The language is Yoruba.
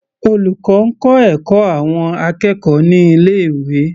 Olùkọ́ ń kọ́ ẹ̀kọ́ àwọn akẹ́kọ̀ọ́ ní ilé ìwé.